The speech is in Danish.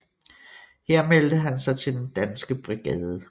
Her meldte han sig til Den Danske Brigade